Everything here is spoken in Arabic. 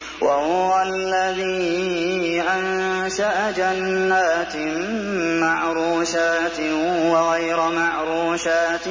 ۞ وَهُوَ الَّذِي أَنشَأَ جَنَّاتٍ مَّعْرُوشَاتٍ وَغَيْرَ مَعْرُوشَاتٍ